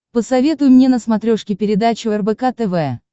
посоветуй мне на смотрешке передачу рбк тв